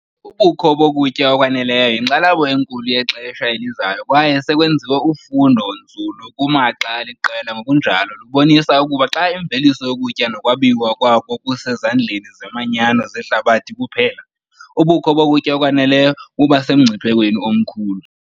Ubukho bokutya okwaneleyo yinkxalabo enkulu yexesha elizayo kwaye sekwenziwe ufundo-nzulu kumaxa aliqela ngokunjalo lubonise ukuba xa imveliso yokutya nokwabiwa kwako kusezandleni zeemanyano zehlabathi kuphela, ubukho bokutya okwaneleyo buba semngciphekweni omkhulu.